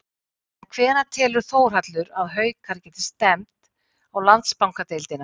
En hvenær telur Þórhallur að Haukar geti stefnt á Landsbankadeildina?